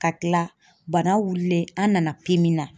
Ka kila bana wulilen an nana na.